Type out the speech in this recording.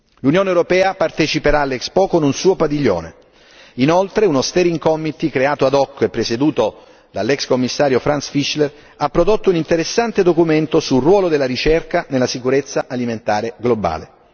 L'Unione europea parteciperà all'Expo con un suo padiglione, inoltre, uno steering committee creato ad hoc e presieduto dall'ex Commissario Franz Fischler ha prodotto un interessante documento sul ruolo della ricerca nella sicurezza alimentare globale.